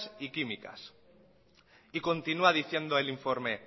y químicas y continúa diciendo el informe